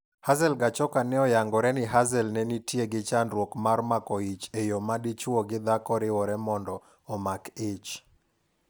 Hazel Gachoka ne oyangore ni Hazel ne nitie gi chandruok mar mako ich e yo madichuo gi dhako riwore mondo omak ich.